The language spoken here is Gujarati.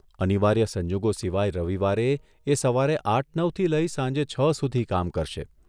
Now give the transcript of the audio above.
અનિવાર્ય સંજોગો સિવાય રવિવારે એ સવારે આઠ નવથી લઇ સાંજે છ સુધી કામ કરશે.